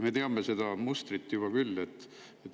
" Me teame seda mustrit juba küll.